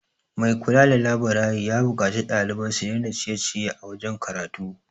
Mai kula da laburari ya buƙaci ɗalibai su dai na ciye -ciye a wajen karatu